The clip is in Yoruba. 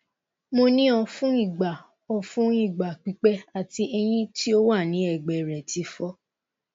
mo ni o fun igba o fun igba pipẹ ati eyin ti o wa ni egbe re ti fọ